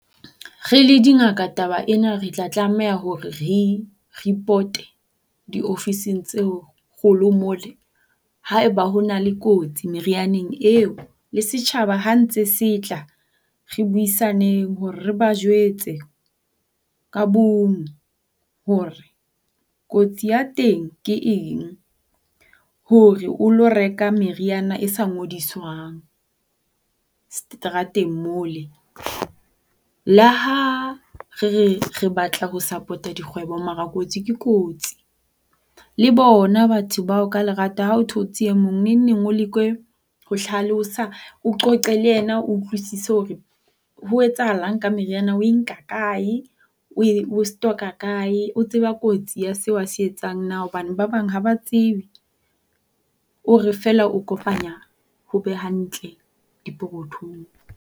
Re le dingaka taba ena re tla tlameha hore re e ripote diofising tseo kgolo mole haeba ho na le kotsi merianeng eo. Le setjhaba ha ntse se tla, re buisaneng hore re ba jwetse ka bong hore kotsi ya teng ke eng hore o lo reka meriana e sa ngodiswang seterateng mole. Le ha re re re batla ho sapota dikgwebo mara kotsi ke kotsi. Le bona batho bao ha o thotse e mong neng neng o leke ho hlalosa o qoqe le yena o utlwisise hore ho etsahalang ka meriana, o e nka kae, o stock-a kae, o tseba kotsi ya seo a se etsang na. Hobane ba bang ha ba tsebe. O re feela o kopanya ho be hantle dipokothong.